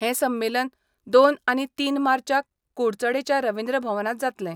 हें संमेलन दोन आनी तीन मार्चाक कुडचडेंच्या रवींद्र भवनात जातलें.